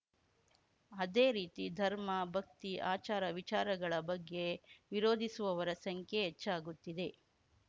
ಅದೇ ರೀತಿ ಧರ್ಮ ಭಕ್ತಿ ಆಚಾರ ವಿಚಾರಗಳ ಬಗ್ಗೆ ವಿರೋಧಿಸುವವರ ಸಂಖ್ಯೆ ಹೆಚ್ಚಾಗುತ್ತಿದೆ